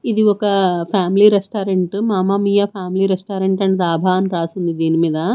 ఇది ఒక family restaurant Mamma Mia family restaurant and dhaba అని రాసింది దీని మీద.